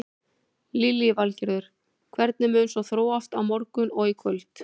Lillý Valgerður: Hvernig mun svo þróast á morgun og í kvöld?